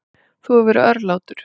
Þú hefur verið örlátur.